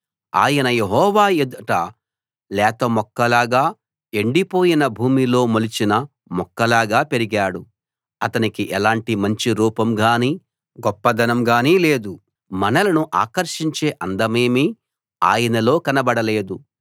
ఆయన యెహోవా ఎదుట లేత మొక్కలాగా ఎండిపోయిన భూమిలో మొలిచిన మొక్కలాగా పెరిగాడు అతనికి ఎలాంటి మంచి రూపంగానీ గొప్పదనంగానీ లేదు మనలను ఆకర్షించే అందమేమీ ఆయనలో కనబడలేదు